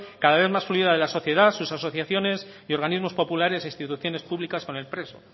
cada vez más fluida de la sociedad sus asociaciones y organismos populares e instituciones públicas con el preso